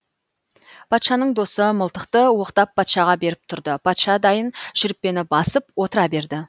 патшаның досы мылтықты оқтап патшаға беріп тұрды патша дайын шүріппені басып отыра берді